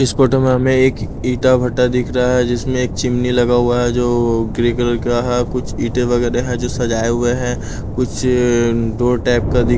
इस फोटो में हमें एक ईटा भट्टा दिख रहा है जिसमें एक चिमनी लगा हुआ है जो ग्रे कलर का है कुछ ईटे वगैरह है जो सजाए हुए हैं कुछ अअ डोर टाइप का दिख--